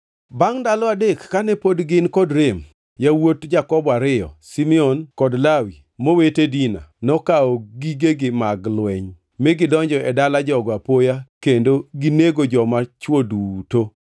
Bangʼ ndalo adek kane pod gin kod rem, yawuot Jakobo ariyo, Simeon kod Lawi mowete Dina, nokawo gigegi mag lweny mi gidonjo e dala jogo apoya kendo ginego joma chwo duto.